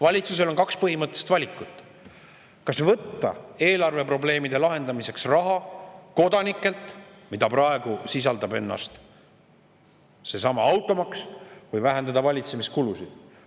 Valitsusel on kaks põhimõttelist valikut: kas võtta eelarveprobleemide lahendamiseks raha kodanikelt, mida praegu tähendab ka seesama automaks, või vähendada valitsemiskulusid.